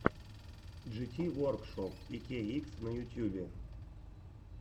джити воркшоп икейикс на ютьюбе